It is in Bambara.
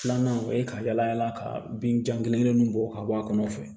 Filanan o ye ka yala yala ka bin jan kelen kelen ninnu bɔ ka bɔ a kɔnɔ fɛ